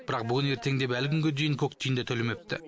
бірақ бүгін ертең деп әлі күнге көк тиын да төлемепті